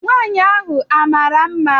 Nwaanyị ahụ a mara mma?